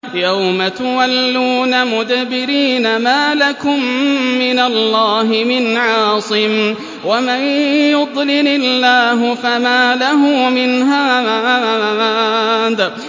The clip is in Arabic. يَوْمَ تُوَلُّونَ مُدْبِرِينَ مَا لَكُم مِّنَ اللَّهِ مِنْ عَاصِمٍ ۗ وَمَن يُضْلِلِ اللَّهُ فَمَا لَهُ مِنْ هَادٍ